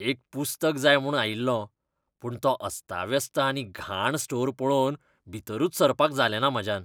एक पुस्तक जाय म्हूण आयिल्लों. पूण तो अस्ताव्यस्त आनी घाण स्टोर पळोवन भीतरूच सरपाक जालेंना म्हाज्यान.